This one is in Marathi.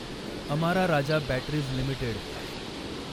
Amara Raja batteries limited